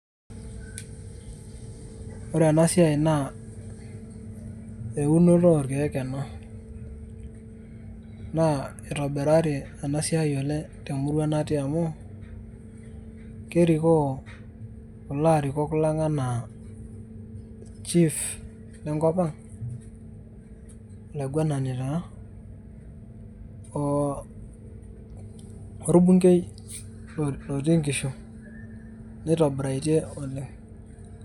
Ore enasiai naa eunoto orkeek ena. Naa itobirari enasiai oleng' temurua natii amu, kerikoo kulo arikok lang' enaa chief lenkop ang',olaiguanani taa,o orbunkei lotii nkishu. Neitobiraitie oleng'.